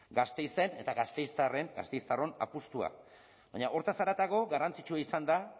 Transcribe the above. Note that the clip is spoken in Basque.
gasteizen eta gasteiztarron apustua baina horretaz haratago garrantzitsua izan da